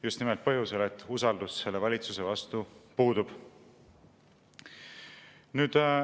Just nimelt põhjusel, et usaldus selle valitsuse vastu puudub.